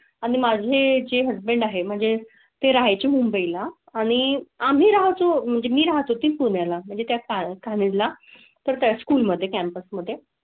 आणि माझी हजबंड आहे म्हणजे ते राहाय ची मुंबई ला आणि आम्ही राहतो म्हणजे मी राहतो ती पुण्या ला म्हणजे त्या काळात ला तर त्या स्कूल मध्ये कॅम्पस्मध्ये.